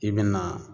I bɛna